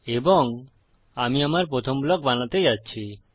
এবং আমি আমার প্রথম ব্লক বানাতে যাচ্ছি